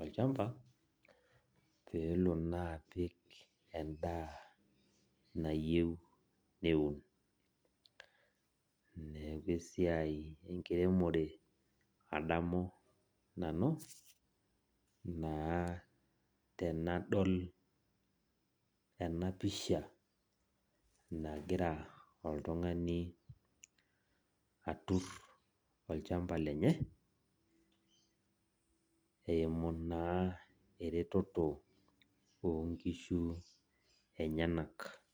olchamba pelo naa apik endaa nayieu nepik neaku esiai enkiremore naa adamu nanu tanadol enapisha nagira oltungani atur olchamba lenye eimu naa eretoto onkishu enyenak.